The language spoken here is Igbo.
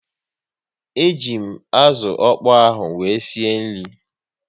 E ji m azụ ọkpọ ahụ wee sie nri